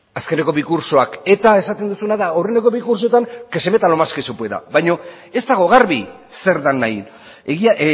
azkeneko bi kurtsoak eta esaten duzuna da horrelako bi kurtsoetan que se meta lo más que se pueda baino ez dago garbi zer den nahi egia